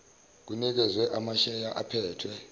kunikezwe amasheya aphethwe